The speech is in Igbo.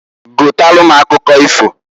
Gotalu m akụkọ ifoǃ